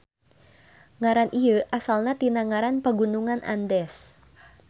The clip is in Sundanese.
Ngaran ieu asalna tina ngaran Pagunungan Andes.